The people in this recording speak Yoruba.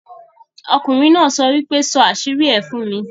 Okùnrin náà sọ pé, ' sọ àṣírí ẹ fún mi'